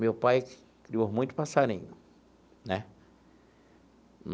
Meu pai criou muito passarinho né.